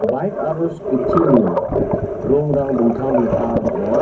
baik aro skuti ni rongrang dingtang dingtang ong·a.